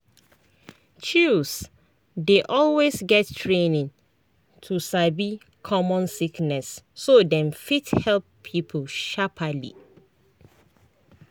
chws dey always get training to sabi common sickness so dem fit help people sharperly.